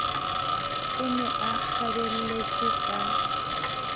o ne a kgabelletswe ka